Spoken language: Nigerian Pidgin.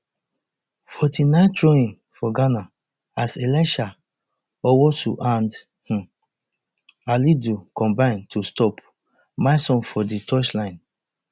forty-ninethrowin for ghana as elisha owusu and um alidu combine to stop milson for di touchline